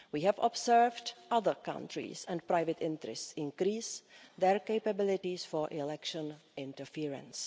We have observed other countries and private interests increase their capabilities for election interference.